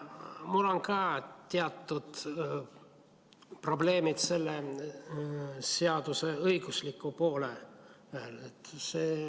Mul on ka teatud probleemid selle seaduse õigusliku poolega.